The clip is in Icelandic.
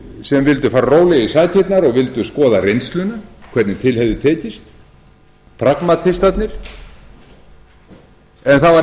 sem vildu fara rólega í sakirnar og vildu skoða reynsluna hvernig til hefði tekist en það var reynt